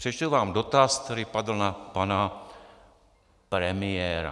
Přečtu vám dotaz, který padl na pana premiéra.